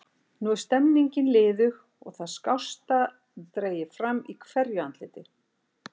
Nú er stemningin liðug og það skásta dregið fram í hverju andliti.